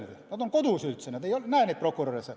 Inimesed on kodus, kohtunikud ei näe prokuröre.